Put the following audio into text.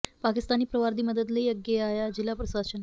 ਪਾਕਿਸਤਾਨੀ ਪਰਿਵਾਰ ਦੀ ਮਦਦ ਲਈ ਅੱਗੇ ਆਇਆ ਜਿਲ੍ਹਾ ਪ੍ਰਸ਼ਾਸਨ